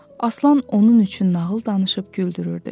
Aslan onun üçün nağıl danışıb güldürürdü.